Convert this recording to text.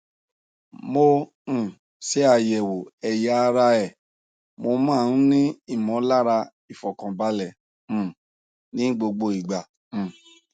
mo um ṣe àyẹwò ẹyà ara ẹ mo máa ń ní ìmọlára ìfọkànbalẹ um ní gbogbo ìgbà um